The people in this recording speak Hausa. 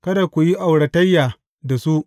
Kada ku yi auratayya da su.